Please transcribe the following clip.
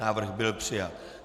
Návrh byl přijat.